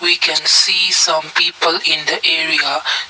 we can see some people in the area.